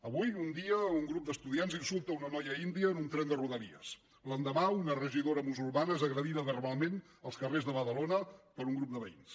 avui un dia un grup d’estudiants insulta una noia índia en un tren de rodalies l’endemà una regidora musulmana és agredida verbalment als carrers de badalona per un grup de veïns